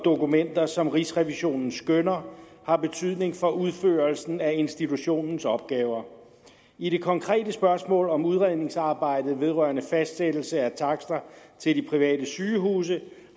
dokumenter som rigsrevisionen skønner har betydning for udførelsen af institutionens opgaver i det konkrete spørgsmål om udredningsarbejdet vedrørende fastsættelse af takster til de private sygehuse